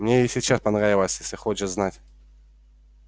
мне и сейчас понравилось если хочешь знать